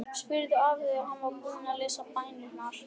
spurði afi þegar hann var búinn að lesa bænirnar.